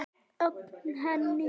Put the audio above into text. Ögra henni.